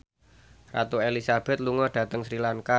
Ratu Elizabeth lunga dhateng Sri Lanka